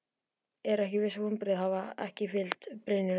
Eru ekki vonbrigði að hafa ekki fylgt byrjuninni eftir?